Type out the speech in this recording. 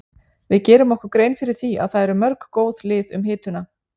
Við gerum okkur grein fyrir því að það eru mörg góð lið um hituna.